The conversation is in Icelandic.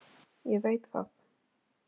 Ég veit það.